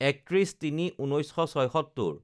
৩১/০৩/১৯৭৬